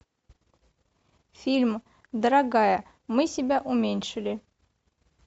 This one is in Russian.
фильм дорогая мы себя уменьшили